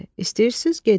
İstəyirsiz gedin.